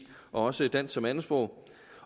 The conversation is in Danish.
og også dansk som andetsprog